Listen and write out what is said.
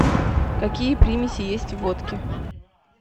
какие примеси есть в водке